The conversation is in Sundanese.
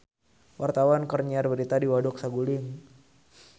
Wartawan keur nyiar berita di Waduk Saguling